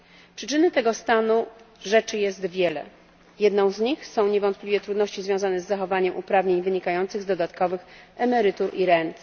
Przyczyn tego stanu rzeczy jest wiele, jedną z nich są niewątpliwie trudności związane z zachowaniem uprawnień wynikających z dodatkowych emerytur i rent.